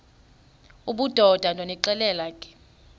obudoda ndonixelela ke